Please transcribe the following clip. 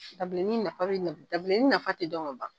Dabileni nafa dabileni nafa tɛ dɔn ka ban.